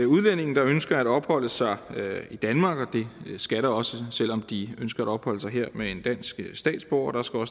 udlændinge der ønsker at opholde sig i danmark og det skal der også selv om de ønsker at opholde sig her med en dansk statsborger der skal